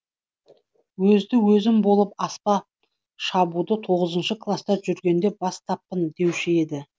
өзді өзім болып аспап шабуды тоғызыншы класта жүргенде бастаппын деуші еді